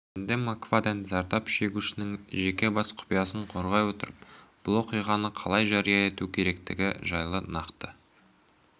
енді мак фадден зардап шегушінің жеке бас құпиясын қорғай отырып бұл оқиғаны қалай жария ету керектігі жайлы нақты